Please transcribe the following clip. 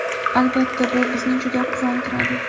Albatta, bu bizni juda quvontiradi.